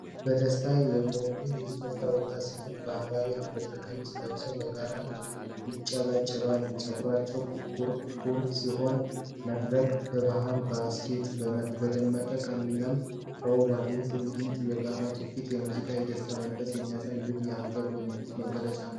በደስታ የሞሉ የኢትዮጵያ ወጣት ሴቶች ባህላዊ የሐበሻ ቀሚስ ለብሰው በጋራ ያጨበጭባሉ። ፀጉራቸው ኩርኩር ሲሆን፣ መድረኩ በባህል ማስጌጫዎችና በደማቅ ቀለም ተውቧል። ይህ ትዕይንት የጋራ ትውፊትን፣ የሙዚቃንና የደስታን መንፈስ የሚያሳይ ውብ የአገርኛ ውበት መገለጫ ነው።